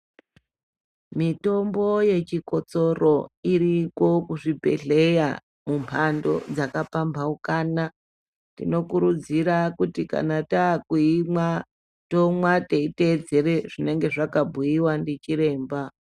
Mitombo yechikotsoro iriyo kuchibhedhlera mumphando dzakapambhaukana tinokurudzira kuti kana taakuimwatinomwa teiteedzera zvinonga zvakabhuiwa ndiChiremba.